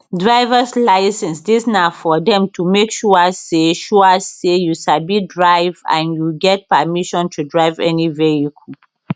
drivers licence dis na for dem to make sure say sure say you sabi drive and you get permission to drive any vehicle